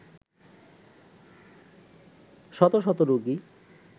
শত শত রোগী